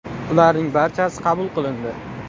Ularning barchasi qabul qilindi.